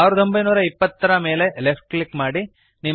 1920 ಯ ಮೇಲೆ left click ಮಾಡಿರಿ